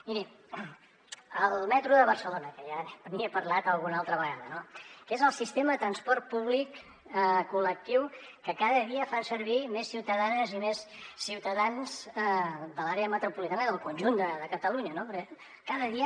miri el metro de barcelona que ja n’hi he parlat alguna altra vegada que és el sistema de transport públic col·lectiu que cada dia fan servir més ciutadanes i més ciutadans de l’àrea metropolitana i del conjunt de catalunya no perquè cada dia